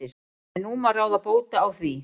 En nú má ráða bóta á því.